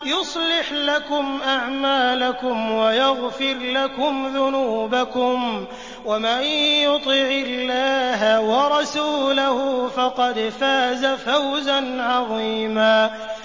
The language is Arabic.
يُصْلِحْ لَكُمْ أَعْمَالَكُمْ وَيَغْفِرْ لَكُمْ ذُنُوبَكُمْ ۗ وَمَن يُطِعِ اللَّهَ وَرَسُولَهُ فَقَدْ فَازَ فَوْزًا عَظِيمًا